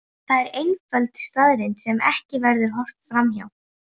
Það er einföld staðreynd sem ekki verður horft fram hjá.